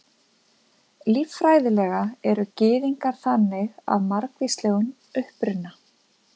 Líffræðilega eru Gyðingar þannig af margvíslegum uppruna.